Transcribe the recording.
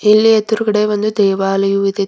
ಇಲ್ಲಿ ಎದುರುಗಡೆ ಒಂದು ದೇವಾಲಯವು ಇದೆ.